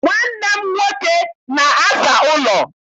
Nwanne m nwoke na-aza ụlọ.